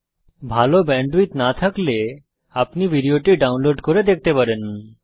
যদি ভাল ব্যান্ডউইডথ না থাকে তাহলে আপনি ভিডিও টি ডাউনলোড করে দেখতে পারেন